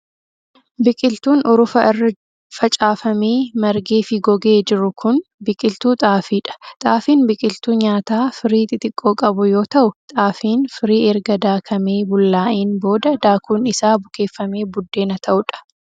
Biqiltuun urufa irra facaafamee, margee fi gogee jiru kun, biqiltuu xaafii dha. Xaafiin biqiltuu nyaataa firii xixiqqoo qabu yoo ta'u, xaafiin firii erga daakamee bullaa'een booda daakun isaa bukeeffamee buddeena ta'uu dha.